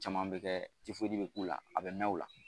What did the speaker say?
Caman bɛ kɛ bɛ k'u la a bɛ mɛn o la